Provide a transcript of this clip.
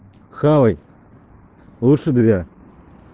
хавай лучше две